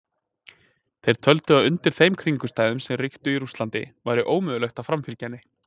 Þeir töldu að undir þeim kringumstæðum sem ríktu í Rússlandi væri ómögulegt að framfylgja henni.